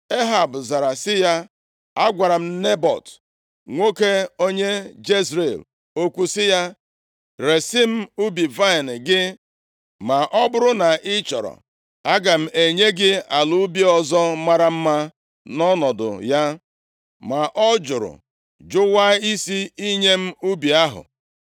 Ehab zara sị ya, “Agwara m Nebọt, nwoke onye Jezril okwu sị ya, ‘Resi m ubi vaịnị gị, ma ọ bụrụ na ị chọrọ, aga m enye gị ala ubi ọzọ mara mma nʼọnọdụ ya.’ Ma ọ jụrụ jụwaa isi inye m ubi ahụ.”